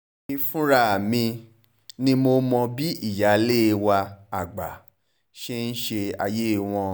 èmi fúnra mi ni mo mọ bí ìyáálé wa àgbà ṣe ń ṣe ayé wọn